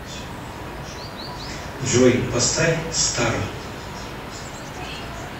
джой поставь стар